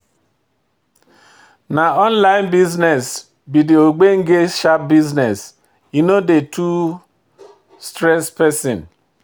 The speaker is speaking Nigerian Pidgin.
Na online business be de ogbenge sharp business, e no dey too stress pesin.